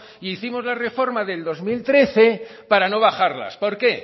e hicimos la reforma del dos mil trece para no bajarlas por qué